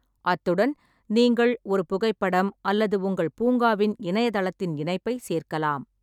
அத்துடன் நீங்கள் ஒரு புகைப்படம் அல்லது உங்கள் பூங்காவின் இணையதளத்தின் இணைப்பைச் சேர்க்கலாம்.